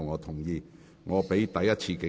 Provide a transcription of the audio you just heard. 這是我第一次警告。